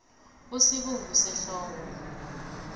usibungusehloko